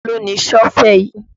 Taló ni Sọ́fẹ̀ yìí?